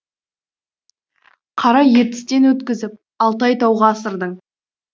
қара ертістен өткізіп алтай тауға асырдың